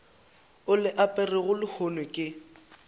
o le aperego lehono ke